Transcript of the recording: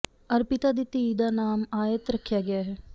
ਅਰਪਿਤਾ ਦੀ ਧੀ ਦਾ ਨਾਮ ਆਯਤ ਰੱਖਿਆ ਗਿਆ ਹੈ